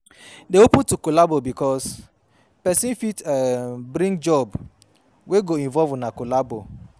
Dey open to collabo bikos pesin fit um bring job wey go involve una collabo